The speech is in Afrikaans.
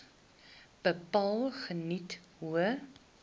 bepaal geniet hoë